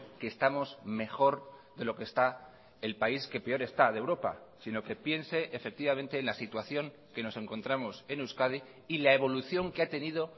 que estamos mejor de lo que está el país que peor está de europa sino que piense efectivamente en la situación que nos encontramos en euskadi y la evolución que ha tenido